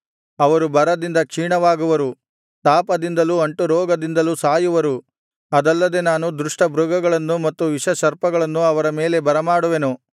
ಅವರು ಬರದಿಂದ ಕ್ಷೀಣವಾಗುವರು ತಾಪದಿಂದಲೂ ಅಂಟುರೋಗದಿಂದಲೂ ಸಾಯುವರು ಅದಲ್ಲದೆ ನಾನು ದುಷ್ಟ ಮೃಗಗಳನ್ನೂ ಮತ್ತು ವಿಷಸರ್ಪಗಳನ್ನೂ ಅವರ ಮೇಲೆ ಬರಮಾಡುವೆನು